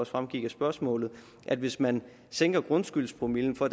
fremgik af spørgsmålet at hvis man sænker grundskyldspromillen for